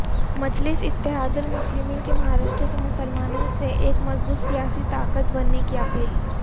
مجلس اتحاد المسلمین کی مہاراشٹر کے مسلمانوں سے ایک مضبوط سیاسی طاقت بننے کی اپیل